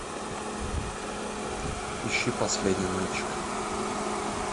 ищи последний мальчик